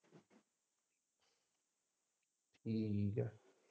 ਠੀਕ ਹੈ।